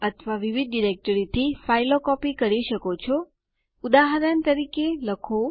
અહીં હું admin password આપીશ અને Enter દબાવો